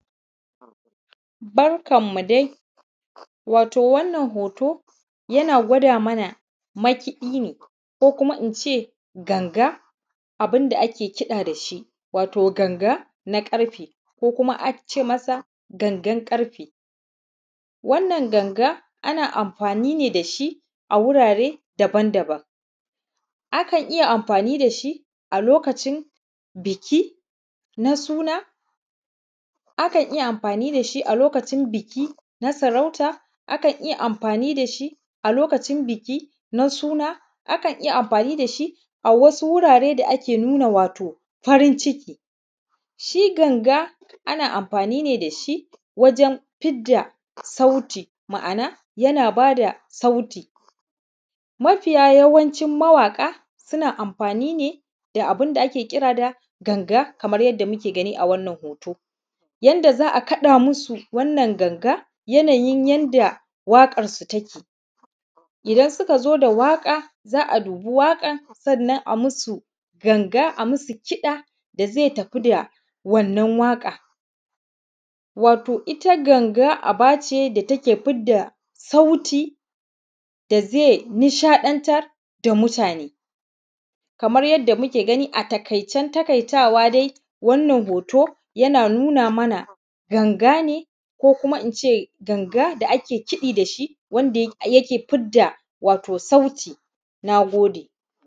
Barkan mu dai wato wannan hoto yana gwado mana makiɗi ne ko kuma ince ganga abun da ake kiɗa da shi watau ganga na ƙarfe ko kuma a ce masa gangan ƙarfe wannan ganga ana amfani ne da shi a wurare daban daban akan iya amfani da shi a lokacin biki na suna akan iya amfani da shi na saurauta akan iya amfani da shi a lokacin biki na suna akan iya amfani da shi a wasu wurare da ake nuna wato farin ciki, shi ganga ana amfani ne da shi wajen fidda sauti ma`ana yana bada sauti mafi yawancin mawaƙa suna amfani ne da abun da ake kira da ganga kamar yadda muke gani a wannan hoto yanda za`a kaɗa musu wannan ganga yanayin yanda waƙar su take idan suka zo waƙar za`a dubi waƙan sannan za`a masu ganga a masu kiɗa da zai tafi da wannan waƙa wato ita ganga aba ce da take fidda sauti da zai nishaɗantar da mutane kamar yadda muke gani a taƙaicen taƙaitawa dai wannan hoto yana nuna mana ganga ne ko kuma ince ganga da ake kiɗi da shi wanda yake fidda wato sauti.